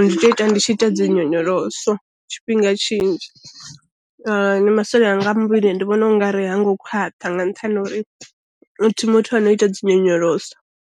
ndi tea ita ndi tshi ita dzinyonyoloso tshifhinga tshinzhi, na masole anga a muvhili ndi vhona u nga ri ha ngo khwaṱha nga nṱhani ha uri a thi muthu a no ita dzi nyonyoloso.